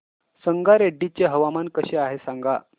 संगारेड्डी चे हवामान कसे आहे सांगा